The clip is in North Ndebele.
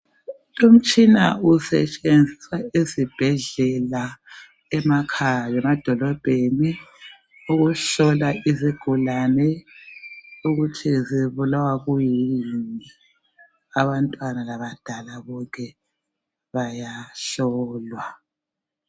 Lumtshina usetshenziswa ezibhendlela emakhaya lemadolobheni ukuhlola izigulane ukuthi ezibulawa kuyini abantwana bonke labadala bayahlolwa